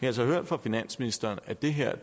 altså hørt fra finansministeren at det her